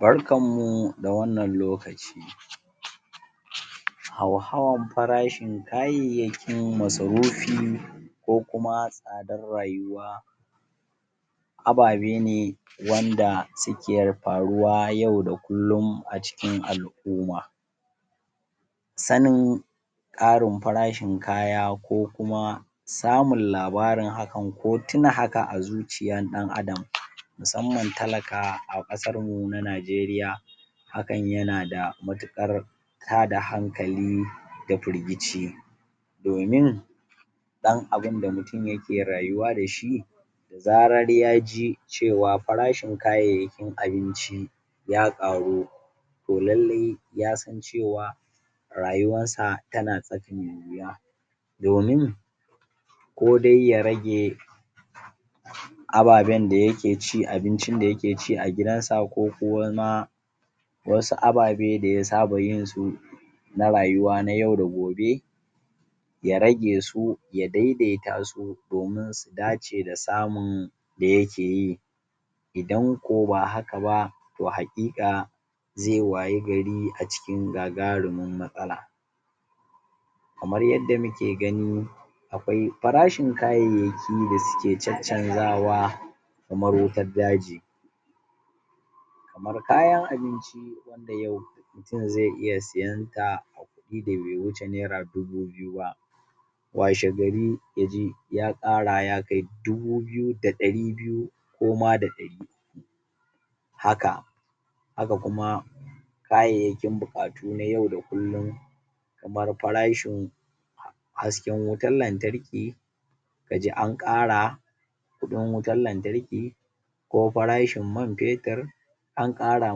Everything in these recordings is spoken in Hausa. barkan mu da wannan lokaci hauhawan farashin kayayyakin masarufi ko kuma tsadar rayuwa abaɓe ne wanda suke faruwa yau a kullin a cikin al'umma sanin ƙarin farshin kaya ko kuma samun labarin hakan ko tuna haka a zuciyar ɗan adam musamman talaka a ƙasarmu na najeriya hakan yana da matuƙar tada hankali dA firgici domin ɗan abinda mutun yake rayuwa dashi zarar yaji cewa farashin kayayyakin abinci ya ƙaru to lallai yasan cewa rayuwansa tana tsaka me yuwa domin ko dai ya rage ababan da yake ci abincin da yake ci a gidansa ko kuma wasu ababe da ya saba yinsu na rayuwa na yau da gobe ya rage su ya daidaita su domin su dace da samun da yakeyi idan ko ba haka ba to haƙiƙa zai waye gari a cikin gagarumin matsala kamar yadda muke gani aƙwai farashin kayayyaki da suke caccanzawa kamar wutar daji kamar kayan abinci wanda yau mutun zai iya siyanta a kuɗi da be wuce naira dubu biyu ba washe gari yaji ƙara ya kai dubi biyu da dari biyu ko ma da dari haka haka kuma kayayyakin buƙatu na yau da kullin kamar farashin hasken wutar lantarki kaji anƙara kuɗin wutar lantarki ko farashin man fetir anƙara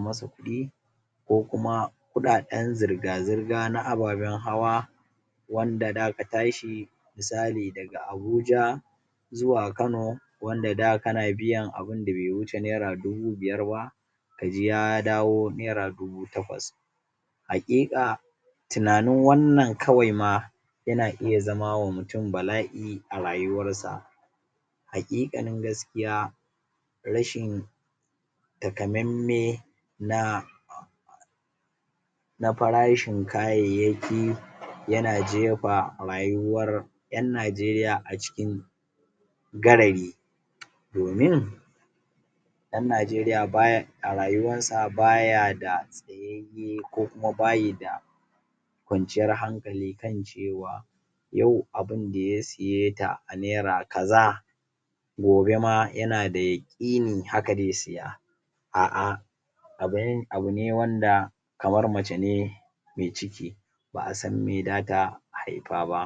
masa kuɗi ko kuma kuɗaɗan zirga zirga na ababan hawa wanda daka tashi misali daga abuja zuwa kano wanda da kana biyan abunda be wuce naira dubu biyar ba kaji ya dawo naira dubu taƙwas haƙiƙa tunanin wannan kawai ma yana iya zama wa mutun bala'i a rayuwar sa haƙiƙanin gaskiya rashin takamamme na na farashin kayayyaki yana jefa rayuwar ƴan najeriya a cikin gagari domin ɗan najeriya a rayuwansa baya da tsayayye ko kuma bayida ƙwanciyar hankali kan cewa yau abinda ya siyeta a naira kaza gobe ma yana da yaƙini haka zai siya a'a abune wanda kamar mace ne mai ciki ba a san me data haifa ba